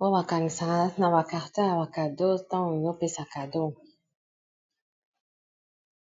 oyo bakangisaka na ba carton ya ba cadeau tangu opesa cadeau.